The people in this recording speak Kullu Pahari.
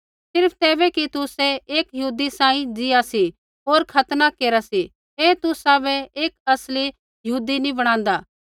सिर्फ़ तैबै कि तुसै एक यहूदी सांही ज़ीआ सी होर खतना केरा सी ऐ तुसाबै एक असली यहूदी नैंई बणादा